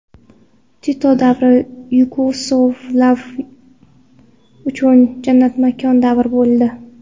Tito davri yugoslavlar uchun jannatmakon davr bo‘ldi.